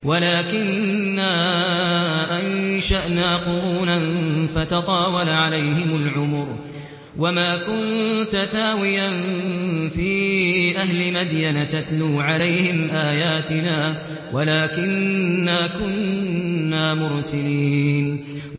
وَلَٰكِنَّا أَنشَأْنَا قُرُونًا فَتَطَاوَلَ عَلَيْهِمُ الْعُمُرُ ۚ وَمَا كُنتَ ثَاوِيًا فِي أَهْلِ مَدْيَنَ تَتْلُو عَلَيْهِمْ آيَاتِنَا وَلَٰكِنَّا كُنَّا مُرْسِلِينَ